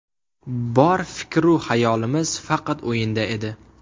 Bor fikr-u xayolimiz faqat o‘yinda edi.